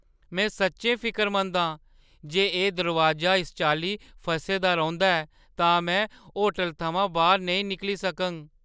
में सच्चैं फिकरमंद आं जे एह् दरोआजा इस चाल्ली फसे दा रौंह्‌दा ऐ तां में होटलै थमां बाह्‌‌र नेईं निकली सकङ।